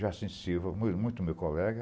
Já muito muito o meu colega,